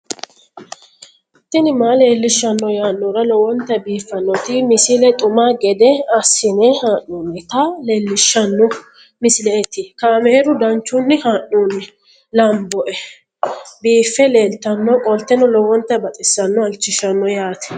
tini maa leelishshanno yaannohura lowonta biiffanota misile xuma gede assine haa'noonnita leellishshanno misileeti kaameru danchunni haa'noonni lamboe biiffe leeeltannoqolten lowonta baxissannoe halchishshanno yaate